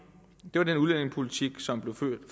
det var den udlændingepolitik som blev ført